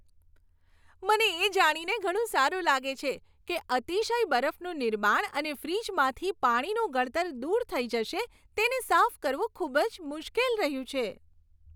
મને એ જાણીને ઘણું સારું લાગે છે કે અતિશય બરફનું નિર્માણ અને ફ્રિજમાંથી પાણીનું ગળતર દૂર થઈ જશે તેને સાફ કરવું ખૂબ જ મુશ્કેલ રહ્યું છે.